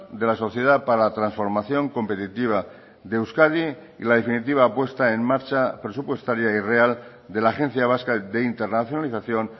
de la sociedad para la transformación competitiva de euskadi y la definitiva puesta en marcha presupuestaria y real de la agencia vasca de internacionalización